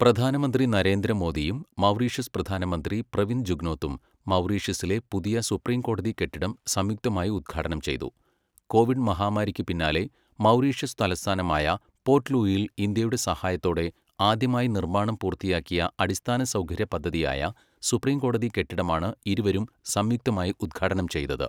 പ്രധാനമന്ത്രി നരേന്ദ്ര മോദിയും മൗറീഷ്യസ് പ്രധാനമന്ത്രി പ്രവിന്ദ് ജുഗ്നോത്തും മൗറീഷ്യസിലെ പുതിയ സുപ്രീംകോടതി കെട്ടിടം സംയുക്തമായി ഉദ്ഘാടനം ചെയ്തു കോവിഡ് മഹാമാരിക്കു പിന്നാലെ മൗറീഷ്യസ് തലസ്ഥാനമായ പോർട്ട്ലൂയിയിൽ ഇന്ത്യയുടെ സഹായത്തോടെ ആദ്യമായി നിർമ്മാണം പൂർത്തിയാക്കിയ അടിസ്ഥാനസൗകര്യ പദ്ധതിയായ സുപ്രീംകോടതി കെട്ടിടമാണ് ഇരുവരും സംയുക്തമായി ഉദ്ഘാടനം ചെയ്തത്.